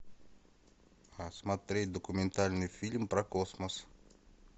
смотреть документальный фильм про космос